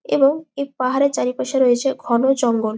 এবং এই পাহাড়ের চারিপাশে রয়েছে ঘন জঙ্গল।